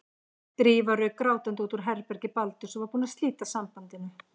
Drífa rauk grátandi út úr herbergi Baldurs og var búin að slíta sambandinu.